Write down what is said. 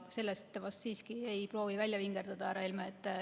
Sellest te vast siiski ei proovi välja vingerdada, härra Helme.